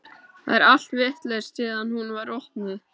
Það er allt vitlaust síðan hún var opnuð.